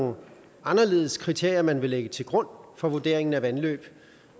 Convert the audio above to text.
nogle anderledes kriterier man vil lægge til grund for vurderingen af vandløb